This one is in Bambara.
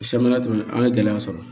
Sabanan tɛmɛnen an ye gɛlɛya sɔrɔ